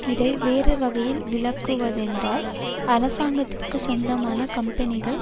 இதை வேறு வகையில் விளக்குவதென்றால் அராசங்கத்திற்கு சொந்தமான கம்பெனிகள்